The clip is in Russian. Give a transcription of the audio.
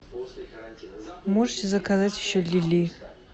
можете заказать еще лилии